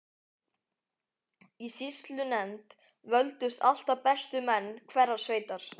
Í sýslunefnd völdust alltaf bestu menn hverrar sveitar.